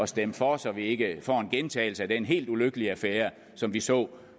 stemme for så vi ikke får en gentagelse af den helt ulykkelige affære som vi så